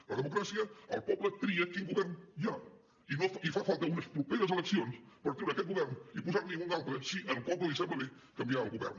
en la democràcia el poble tria quin govern hi ha i fa falta unes properes eleccions per treure aquest govern i posar ne un altre si al poble li sembla bé canviar el govern